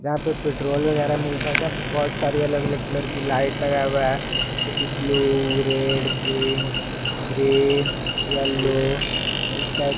यहां पर पेट्रोल वगैरा मिलता है जब बहुत सारी अलग अलग कलर की लाइट लगा हुआ है जैसे की blue red pink green yellow इस टाइप--